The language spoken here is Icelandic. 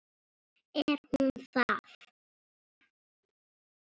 Er hún það?